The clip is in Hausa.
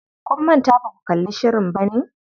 Kun manta baku kalli shirin bane?